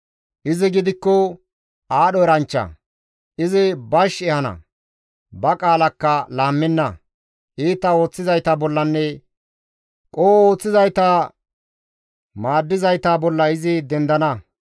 Izi gidikko aadho eranchcha; izi bash ehana; ba qaalakka laammenna; iita ooththizayta bollanne qoho ooththizayta maaddizayta bolla izi dendana.